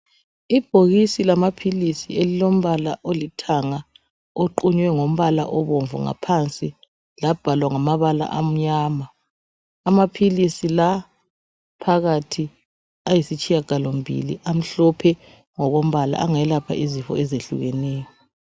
Ibhokisi lamaphilisi elilombala olithanga oqunywe ngombala obomvu ngaphansi labhalwa ngamabala amnyama. Amaphilisi la phakathi ayisitshiyagalombili, amhlophe ngokombala angelapha izifo ezehlukeneyo